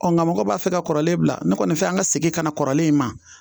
Ɔ nka mɔgɔw b'a fɛ ka kɔrɔlen bila ne kɔni fɛ an ka segin ka na kɔrɔlen in ma